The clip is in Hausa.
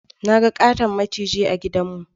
Na ga ƙaton maciji a gidan mu